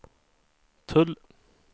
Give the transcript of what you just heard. tull